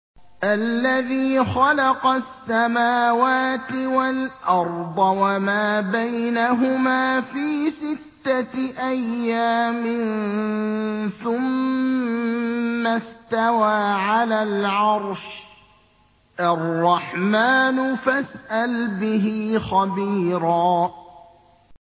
الَّذِي خَلَقَ السَّمَاوَاتِ وَالْأَرْضَ وَمَا بَيْنَهُمَا فِي سِتَّةِ أَيَّامٍ ثُمَّ اسْتَوَىٰ عَلَى الْعَرْشِ ۚ الرَّحْمَٰنُ فَاسْأَلْ بِهِ خَبِيرًا